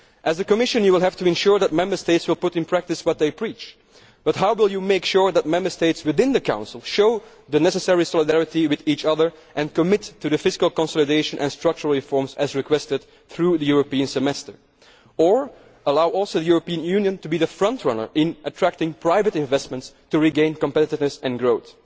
The Commission will have to ensure that Member States put into practice what they preach, but how will it make sure that Member States within the Council show the necessary solidarity with each other and commit to the fiscal consolidation and structural reforms as requested through the European Semester or enable the European Union to be the frontrunner in attracting private investment to regain competitiveness and growth?